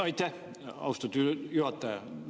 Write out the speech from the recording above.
Aitäh, austatud juhataja!